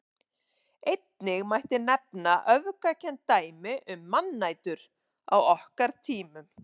Einnig mætti nefna öfgakennd dæmi um mannætur á okkar tímum.